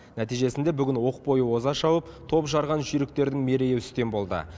нәтижесінде бүгін оқ бойы оза шауып топ жарған жүйріктердің мерейі үстем болды